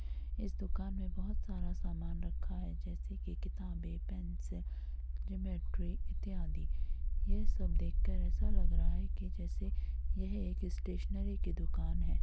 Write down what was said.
इस दुकान में बहुत सारा सामान रखा है जैसे की किताबें पेंसिल ज्योमेट्री इत्यादि| ये सब देखकर ऐसा लग रहा है की जैसे ये एक स्टेशनरी की दुकान हैं।